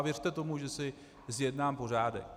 A věřte tomu, že si zjednám pořádek.